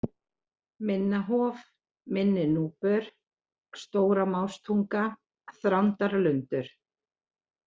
Minna-Hof, Minni-Núpur, Stóra-Mástunga, Þrándarlundur